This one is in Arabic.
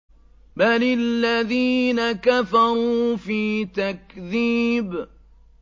بَلِ الَّذِينَ كَفَرُوا فِي تَكْذِيبٍ